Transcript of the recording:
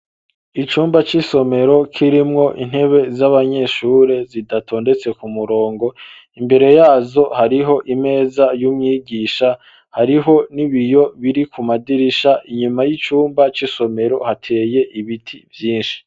Icumba c'isomero kirimwo intebe z'abanyeshure zidatondetse ku murongo, imbere yazo hariho imeza y'umwigisha, hariho n'ibiyo biri ku madirisha, inyuma y'icumba c'isomero hateye ibiti vyinshi.